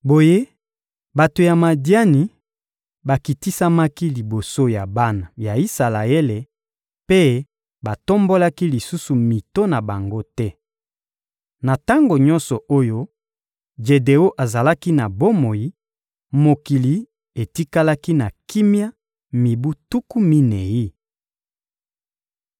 Boye, bato ya Madiani bakitisamaki liboso ya bana ya Isalaele mpe batombolaki lisusu mito na bango te. Na tango nyonso oyo Jedeon azalaki na bomoi, mokili etikalaki na kimia mibu tuku minei.